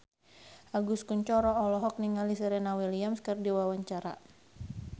Agus Kuncoro olohok ningali Serena Williams keur diwawancara